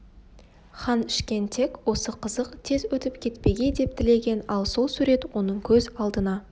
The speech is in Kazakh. хан ішкен тек осы қызық тез өтіп кетпегей деп тілеген ал сол сурет оның көз алдына